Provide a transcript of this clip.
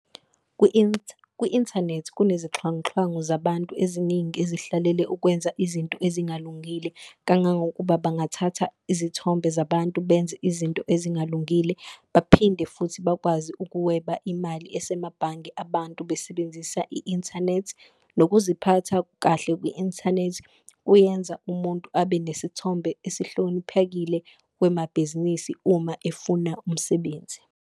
Kwi-inthanethi kunezixhwanguxhwangu zabantu eziningi ezihlalele ukwenza izinto ezingalungile, kangangokuba bangathatha izithombe zabantu benze izinto ezingalungile. Baphinde futhi bakwazi ukuweba imali asemabhange abantu besebenzisa i-inthanethi, nokuziphatha kahle kwi-inthanethi kuyenza umuntu abe nesithombe esihloniphekile kwemabhizinisi uma efuna umsebenzi.